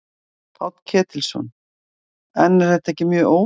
Páll Ketilsson: En er þetta ekki mjög óvanalegt?